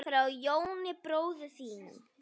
Frá Jóni bróður þínum.